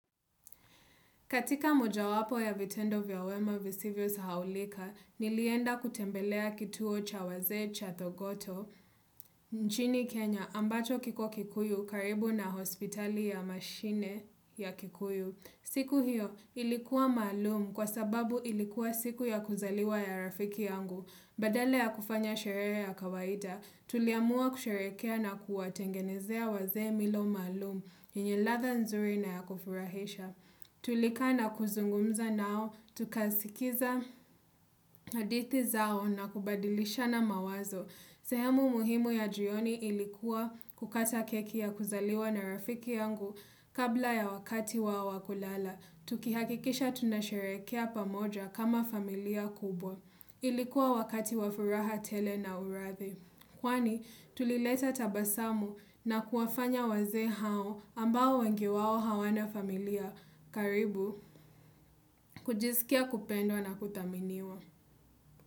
Katika moja wapo ya vitendo vya wema visivyo sahaulika, nilienda kutembelea kituo cha waze cha thogoto. Nchini Kenya ambacho kiko kikuyu karibu na hospitali ya mashine ya kikuyu. Siku hiyo ilikuwa malumu kwa sababu ilikuwa siku ya kuzaliwa ya rafiki yangu. Badala ya kufanya sherere ya kawaida, tuliamua kusherekea na kuwatengenezea waze milo maalum. Yenye ladha nzuri na ya kufurahisha. Tulikaa na kuzungumza nao, tukasikiza hadithi zao na kubadilisha na mawazo. Sehemu muhimu ya jioni ilikuwa kukata keki ya kuzaliwa na rafiki yangu kabla ya wakati wao wakulala. Tukihakikisha tunasherekea pamoja kama familia kubwa. Ilikuwa wakati wafuraha tele na urathi. Kwani tulileta tabasamu na kuwafanya waze hao ambao wengi wao hawana familia karibu kujisikia kupendo na kutaminiwa.